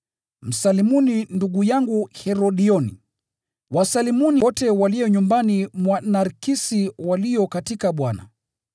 Msalimuni ndugu yangu Herodioni. Wasalimuni wote walio nyumbani mwa Narkisi walio katika Bwana.